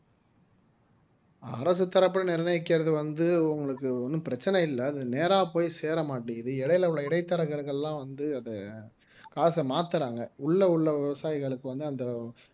அரசு தரப்புல நிர்ணயிக்கிறது வந்து உங்களுக்கு ஒண்ணும் பிரச்சனை இல்லை அது நேர போய் சேர மாட்டேங்குது இடையில உள்ள இடைத்தரகர்கள்லாம் வந்து அதை காசை மாத்துறாங்க உள்ள உள்ள விவசாயிகளுக்கு வந்து அந்த